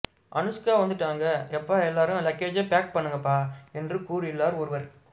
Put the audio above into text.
அனுஷ்கா வந்திட்டாக எப்பா எல்லாரும் லக்கேஜை பே பண்ணுங்கப்பா என்று கூறியுள்ளார் ஒருவர்